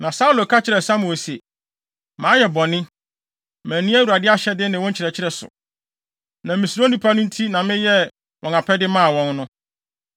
Na Saulo ka kyerɛɛ Samuel se, “Mayɛ bɔne. Manni Awurade ahyɛde ne wo nkyerɛkyerɛ so. Na misuro nnipa no nti na meyɛɛ wɔn apɛde maa wɔn no.